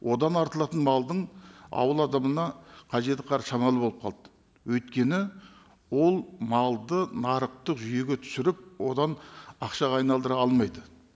одан артылатын малдың ауыл адамына қажеті шамалы болып қалды өйткені ол малды нарықтық жүйеге түсіріп одан ақшаға айналдыра алмайды